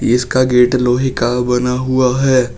इसका गेट लोहे का बना हुआ है।